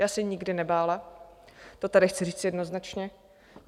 Já se nikdy nebála, to tady chci říct jednoznačně.